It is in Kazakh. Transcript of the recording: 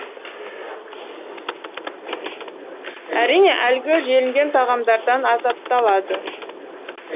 әрине әлгі желінген тағамдардан азапталады